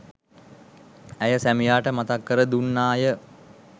ඇය සැමියාට මතක් කර දුන්නාය.